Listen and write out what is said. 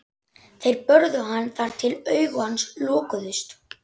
Þeir börðu hann þar til augu hans lokuðust.